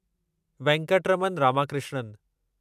Venkataraman Ramakrishnan